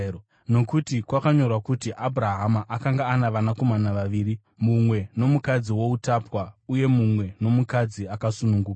Nokuti kwakanyorwa kuti Abhurahama akanga ana vanakomana vaviri, mumwe nomukadzi woutapwa uye mumwe nomukadzi akasununguka.